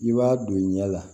I b'a don i ɲɛ la